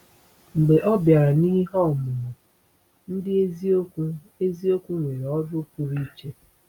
Mgbe ọ bịara n’ihe ọmụmụ, ndị eziokwu eziokwu nwere ọrụ pụrụ iche.